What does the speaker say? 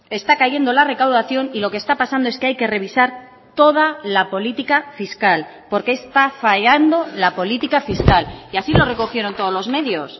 está cayendo la recaudación y lo que está pasando es que hay que revisar toda la política fiscal porque está fallando la política fiscal y así lo recogieron todos los medios